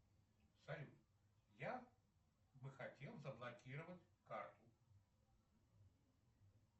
салют я бы хотел заблокировать карту